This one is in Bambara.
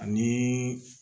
Ani